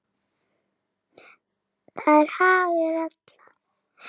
Það er hagur allra.